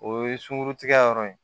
O ye sunkurutigɛ yɔrɔ ye